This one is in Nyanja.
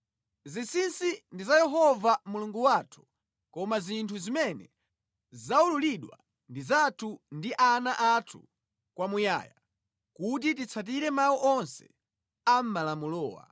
Zinsinsi ndi za Yehova Mulungu wathu koma zinthu zimene zaululidwa ndi zathu ndi ana athu kwamuyaya, kuti titsatire mawu onse a mʼmalamulowa.